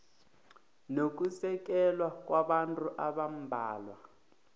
nokusekela kwabantu abambalwa